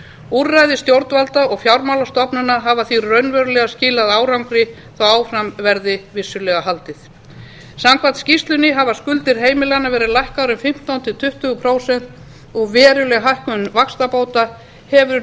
úrræði stjórnvalda og fjármálastofnana hafa því raunverulega skilað árangri þótt vissulega verði haldið áfram samkvæmt skýrslunni hafa skuldir heimilanna verið lækkaðar um fimmtán til tuttugu prósent og veruleg hækkun vaxtabóta hefur